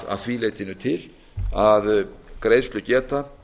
að því leytinu til að greiðslugeta